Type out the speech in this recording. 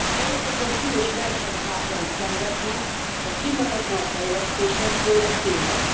Európa súlyos versenyhátrányt szenvedne, ha kimaradna a fejlesztésekből e téren.